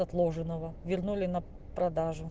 отложенного вернули на продажу